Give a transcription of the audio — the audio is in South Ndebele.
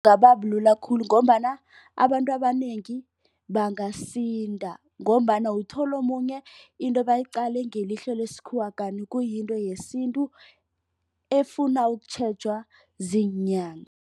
Bulula khulu ngombana abantu abanengi bangasinda. Ngombana uthole omunye into bayiqale ngelihlo lesikhuwa kanti kuyinto yesintu efuna ukutjhejwa ziinyanga.